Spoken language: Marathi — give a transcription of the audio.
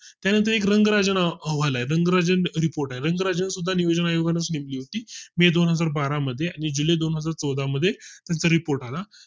त्यानंतर एक रंगाराजन अहवाल आहे रंगराजन Report आहे रंगराजन सुद्धा नियोजन आयोगा ची मे दोनहजार बारा मध्ये आणि जुलै दोन हजार चौदा मध्ये त्याचा report आला